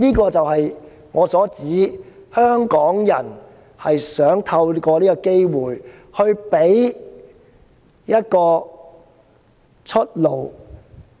這就是我所指的，香港人想透過這個機會給予中共一條出路，